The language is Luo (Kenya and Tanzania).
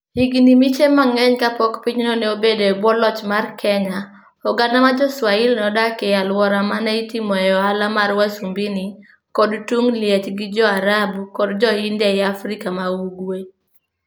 Higini miche mang'eny kapok pinyno ne obedo e bwo loch mar Kenya, oganda mar Jo-Swahili nodak e alwora ma ne itimoe ohala mar wasumbini kod tung liech gi Jo-Arabu kod Jo-India e Afrika ma ugwe.